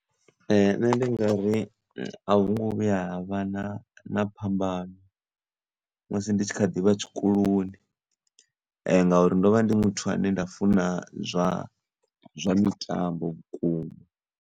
Nṋe ndi ngari a hu ngo vhuya ha vha na phambano musi ndi kha ḓivha tshikoloni ngauri ndovha ndi muthu ane nda funa zwa zwa mitambo vhukuma.